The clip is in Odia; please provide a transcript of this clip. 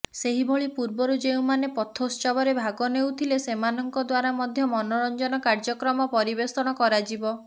ସେହିଭଳି ପୂର୍ବରୁ ଯେଉଁମାନେ ପଥୋତ୍ସବରେ ଭାଗ ନେଉଥିଲେ ସେମାନଙ୍କ ଦ୍ୱାରା ମଧ୍ୟ ମନୋରଞ୍ଜନ କାର୍ଯ୍ୟକ୍ରମ ପରିବେଷଣ କରାଯିବ